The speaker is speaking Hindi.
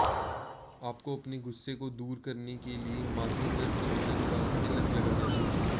आपको अपने गुस्से को दूर करने के लिए माथे पर चंदन का तिलक लगाना चाहिए